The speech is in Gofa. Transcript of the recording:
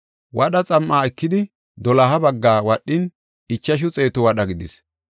Wadha xam7a ekidi, doloha baggaa wadhin, ichashu xeetu wadha gidis.